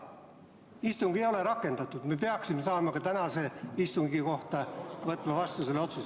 Istungit ei ole veel rakendatud, me peaksime saama ka tänase istungi kohta selle otsuse vastu võtta.